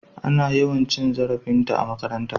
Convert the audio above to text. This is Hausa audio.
Ana yawan cin zarafinta a makaranta.